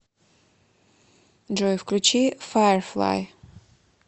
джой включи файерфлай